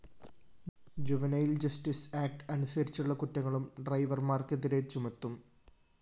juvenile‍ justice act അനുസരിച്ചുള്ള കുറ്റങ്ങളും ഡ്രൈവര്‍മാര്‍ക്കെതിരെ ചുമത്തും